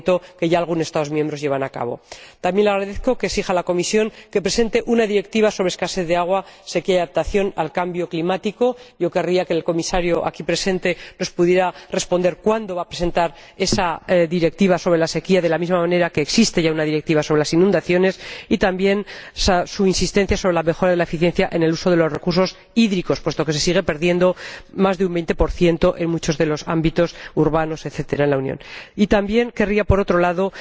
que ya algunos Estados miembros llevan a cabo. También le agradezco que exija a la Comisión que presente una directiva sobre escasez de agua, sequía y adaptación al cambio climático. Yo querría que el Comisario, aquí presente, nos pudiera responder cuándo va a presentar esa directiva sobre la sequía, de la misma manera que existe ya una directiva sobre las inundaciones. También agradezco al ponente su insistencia en la mejora de la eficiencia en el uso de los recursos hídricos, puesto que se sigue perdiendo más de un 20 en muchos de los ámbitos urbanos, etcétera, en la Unión. Y también querría, por otro lado,